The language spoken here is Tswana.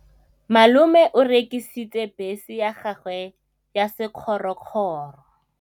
Malome o rekisitse bese ya gagwe ya sekgorokgoro.